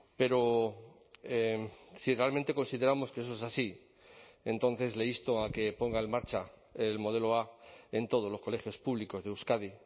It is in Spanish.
pero si realmente consideramos que eso es así entonces le insto a que ponga en marcha el modelo a en todos los colegios públicos de euskadi